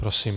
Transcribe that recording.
Prosím.